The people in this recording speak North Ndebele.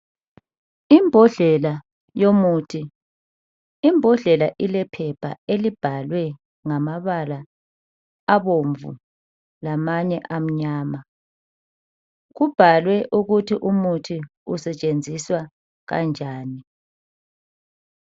Imbodlela yomuthi imbodlela ilephepha elibhalwe ngamabala abomvu lamanye amnyama kubhalwe ukuthi umuthi usetshenziswa kanjani.